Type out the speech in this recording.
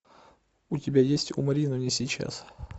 у тебя есть умри но не сейчас